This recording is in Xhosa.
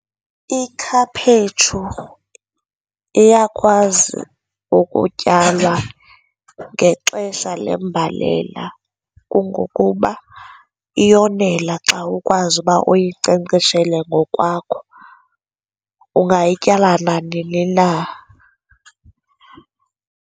Ikhaphetshu iyakwazi ukutyalwa ngexesha lembalela kungokuba iyonela xa ukwazi uba uyinkcenkceshele ngokwakho, ungayityala nanini na.